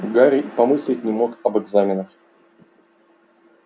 гарри помыслить не мог об экзаменах